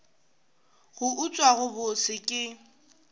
go utswa go bose ke